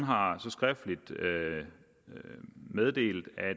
har så skriftligt meddelt at